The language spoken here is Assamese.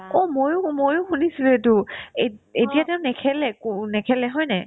অ, ময়ো শু ময়ো শুনিছো দেই এইটো এত ~ এতিয়া তেওঁ নেখেলে একো নেখেলে হয়নে নাই